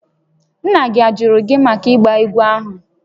Nna gị ajụrụ gị màkà ịgba ahụ?